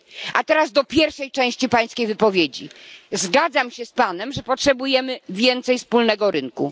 A teraz odniosę się do pierwszej części Pańskiej wypowiedzi zgadzam się z Panem, że potrzebujemy więcej wspólnego rynku.